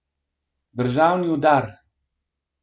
Državni udar.